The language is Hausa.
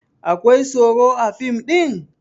Akwai abun tsoro a fim ɗin?